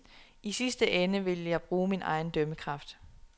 I sidste ende ville jeg bruge min egen dømmekraft.